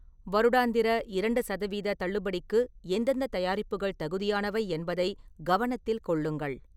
வருடாந்திர இரண்டு சதவீத தள்ளுபடிக்கு எந்தெந்த தயாரிப்புகள் தகுதியானவை என்பதைக் கவனத்தில் கொள்ளுங்கள்.